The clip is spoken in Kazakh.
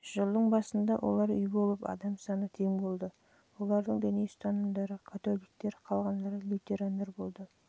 жылдың басында олар үй болып адам саны тең болды олардың діни ұстанымдары католиктер қалғандары лютерандар болды